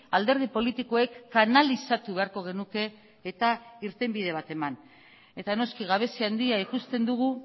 alderdi politikoek kanalizatu beharko genuke eta irtenbide bat eman eta noski gabezia handia ikusten dugu